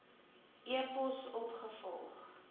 e pos opgevolg